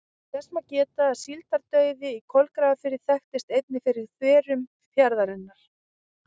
Þess má geta að síldardauði í Kolgrafafirði þekktist einnig fyrir þverun fjarðarins.